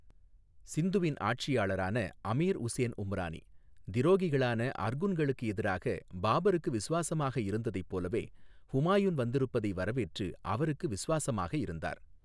சிந்துவின் ஆட்சியாளரான அமீர் உசேன் உம்ரானி, திரோகிகளானஅர்குன்களுக்கு எதிராக பாபருக்கு விசுவாசமாக இருந்ததைப் போலவே, ஹுமாயுன் வந்திருப்பதை வரவேற்று அவருக்கு விசுவாசமாக இருந்தார்.